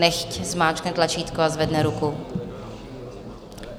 Nechť zmáčkne tlačítko a zvedne ruku.